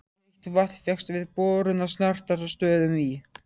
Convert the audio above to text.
Heitt vatn fékkst við borun á Snartarstöðum í